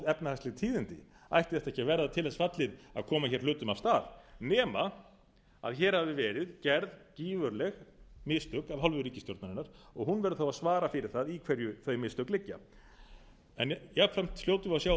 efnahagsleg tíðindi ætti þetta ekki að verða til þess fallið að koma hér hlutum af stað nema hér hafi verið gerð gífurleg mistök af hálfu ríkisstjórnarinnar hún verður þá að svara fyrir það í hverju þau mistök liggja en jafnframt hljótum við að sjá á